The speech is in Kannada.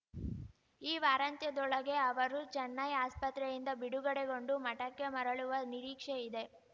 ಈ ವಾರಾಂತ್ಯದೊಳಗೆ ಅವರು ಚೆನ್ನೈ ಆಸ್ಪತ್ರೆಯಿಂದ ಬಿಡುಗಡೆಗೊಂಡು ಮಠಕ್ಕೆ ಮರಳುವ ನಿರೀಕ್ಷೆ ಇದೆ